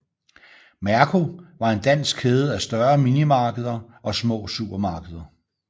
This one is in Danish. Merko var en dansk kæde af større minimarkeder og små supermarkeder